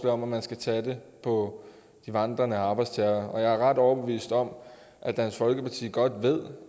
om at man skal tage det på de vandrende arbejdstagere og jeg er ret overbevist om at dansk folkeparti godt ved